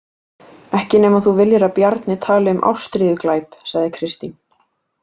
Ekki nema þú viljir að Bjarni tali um ástríðuglæp, sagði Kristín.